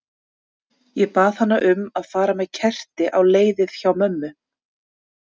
Ég bað hana um að fara með kerti á leiðið hjá mömmu.